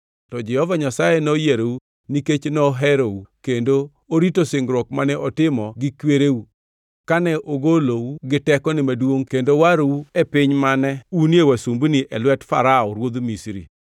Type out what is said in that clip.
to Jehova Nyasaye noyierou nikech noherou kendo orito singruok mane otimo gi kwereu kane ogolou gi tekone maduongʼ kendo warou e piny mane unie wasumbini, e lwet Farao ruodh Misri.